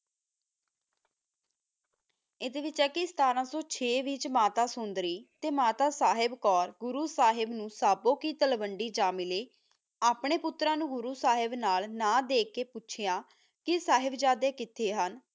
ਆਂਡਿ ਸਤਰ ਸੋ ਚ ਵਿਤਚ ਵੀ ਮਾਤਾ ਸਾਹਿਬ ਕੋਰ ਸਾਹਿਬ ਸਿੰਘ ਨੂ ਤਲਵੰਡੀ ਜਾ ਮਿਲੀ ਆਪਣਾ ਪੋਤਰਾ ਨੂ ਗੁਰੋ ਦਾ ਨਾਲ ਨਾ ਵਖ ਕਾ ਪੋਚਿਆ ਕਾ ਸਾਹਿਬ੍ਜ਼ਾਯਾਦਾ ਕਿਥਾ ਹਨ